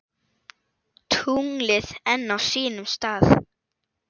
Tunglið enn á sínum stað.